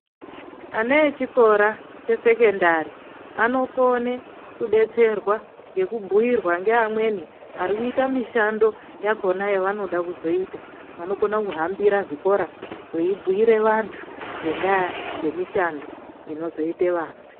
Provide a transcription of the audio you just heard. Ana achikora chesekendari anokone kudetserwa ngekubhiirwa ngamweni arikuita mishando yakona yanoda kuzoita anokona kuhambira zvikora eibhiire vantu ngenda yemishando inozoite vana.